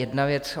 Jedna věc.